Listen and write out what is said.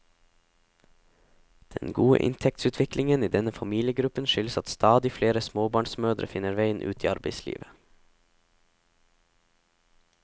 Den gode inntektsutviklingen i denne familiegruppen skyldes at stadig flere småbarnsmødre finner veien ut i arbeidslivet.